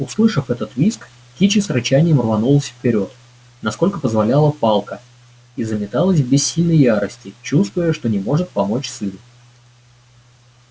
услышав этот визг кичи с рычанием рванулась вперёд насколько позволяла палка и заметалась в бессильной ярости чувствуя что не может помочь сыну